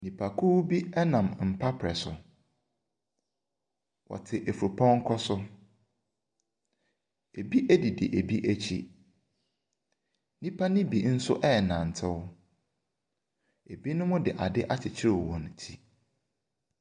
Nnipakuo bi nam mpaprɛ so. Wɔte fupɔnkɔ so. Ebi didi ebi akyi. Nnipa no bi nso renantew. Ebinom de ade akyekyere wɔn ti.